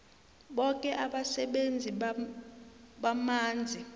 boke abasebenzisi bamanzi